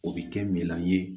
O bɛ kɛ minan ye